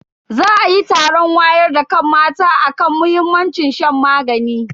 Za ayi taron wayar da kan mata akan muhimmancin shan magani.